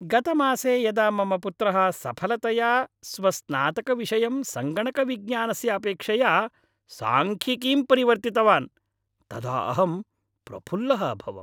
गतमासे यदा मम पुत्रः सफलतया स्वस्नातकविषयं संगणकविज्ञानस्य अपेक्षया सांख्यिकीं परिवर्तितवान् तदा अहं प्रफुल्लः अभवम्।